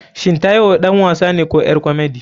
Shin taiwo ɗan wasane ko ƴar komedi?